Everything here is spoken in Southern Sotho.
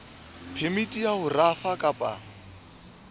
phemiti ya ho rafa kapa